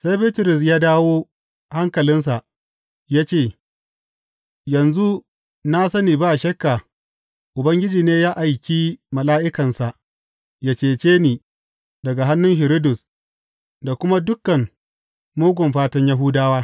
Sai Bitrus ya dawo hankalinsa ya ce, Yanzu na sani ba shakka Ubangiji ne ya aiki mala’ikansa yă cece ni daga hannun Hiridus da kuma dukan mugun fatan Yahudawa.